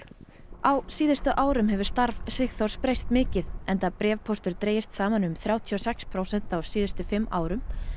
á síðustu árum hefur starf Sigþórs breyst mikið enda bréfpóstur dregist saman um þrjátíu og sex prósent á síðustu fimm árum